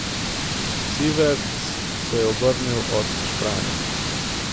Siverts se je obrnil od špranje.